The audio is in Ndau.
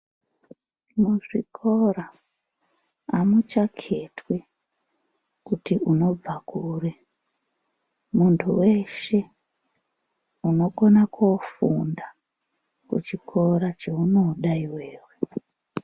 Muzvikora hamuchaketwi kuti unobva kuri, muntu weshe unokona koofunda kuchikora cheunoda iwewe.